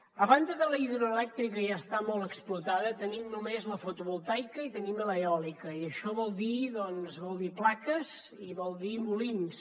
a banda de la hidroelèctrica que ja està molt explotada tenim només la fotovoltaica i tenim l’eòlica i això vol dir plaques i vol dir molins